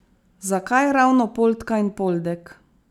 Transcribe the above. Zakaj ravno Poldka in Poldek?